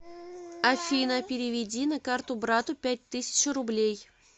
афина переведи на карту брату пять тысяч рублей